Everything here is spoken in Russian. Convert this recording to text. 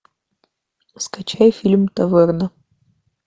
скачай фильм таверна